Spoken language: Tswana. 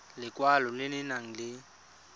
lekwalo le le nang le